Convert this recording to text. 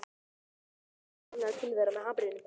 Bjössi veifar glaðlega til þeirra með hamrinum.